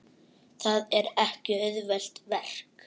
Það er ekki auðvelt verk.